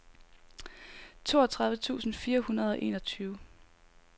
toogtredive tusind fire hundrede og enogtyve